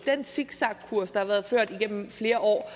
har den zigzagkurs der har været ført igennem flere år